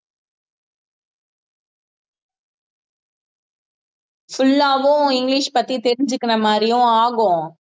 full ஆவும் English பத்தி தெரிஞ்சுக்கிற மாதிரியும் ஆகும்